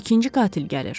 İkinci qatil gəlir.